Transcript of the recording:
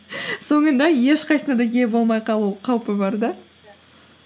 соңында ешқайсысына да ие болмай қалу қаупі бар да